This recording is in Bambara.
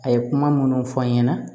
A ye kuma minnu fɔ n ɲɛna